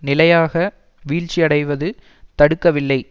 நிலையாக வீழ்ச்சியடைவது தடுக்கவில்லை